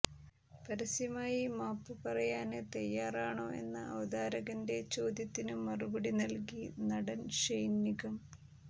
പരസ്യമായി മാപ്പ് പറയാന് തയ്യാറാണോ എന്ന അവതാരകന്റെ ചോദ്യത്തിന് മറുപടി നല്കി നടന് ഷെയ്ന് നിഗം